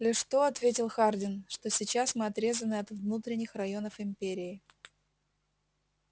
лишь то ответил хардин что сейчас мы отрезаны от внутренних районов империи